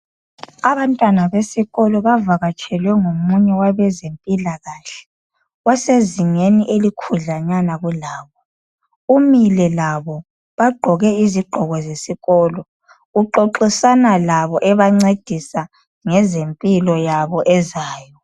Abantwana besikolo bavakatshelwe ngomuye owabeze mpilakahle osezingeni elikhudlwanyana kulabo. Umile labo bagqoke izigqoko zesikolo. Uxoxisana labo ebancedisa ngezempilo yabo ezayo.